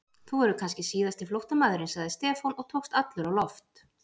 Þú verður kannski síðasti flóttamaðurinn sagði Stefán og tókst allur á loft.